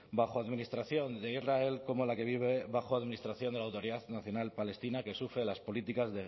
bajo administración de israel como la que vive bajo administración de la autoridad nacional palestina que sufre las políticas